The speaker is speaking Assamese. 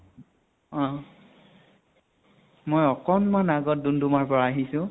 অ মই অকন মান আগত দুম্দুমাৰ পৰা আহিছো।